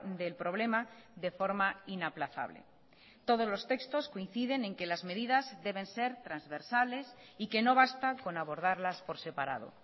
del problema de forma inaplazable todos los textos coinciden en que las medidas deben ser transversales y que no basta con abordarlas por separado